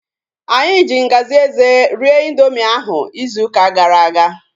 Anyị ji ngaji eze rie ịndoomị ahu izu ụka gara aga